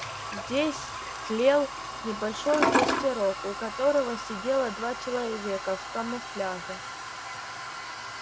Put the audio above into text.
здесь тлел небольшой костерок у которого сидело два человека в камуфляже